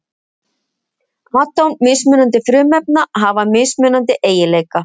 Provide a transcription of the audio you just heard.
Atóm mismunandi frumefna hafa mismunandi eiginleika.